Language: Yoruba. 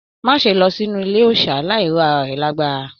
Má ṣe lọ sínú ilé òòsà láì ro ará rẹ lágbára!